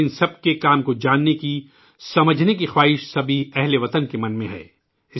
ان سب کے کام کو جاننے کا ، سمجھنے کا تجسس سبھی ہم وطنوں کے دلوں میں ہے